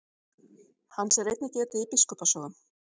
Hans er einnig getið í biskupa sögum.